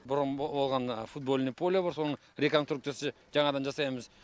бұрын болған футбольный поля бар соның реконструкциясы жаңадан жасаймыз